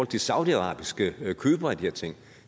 til saudiarabiske købere af de her ting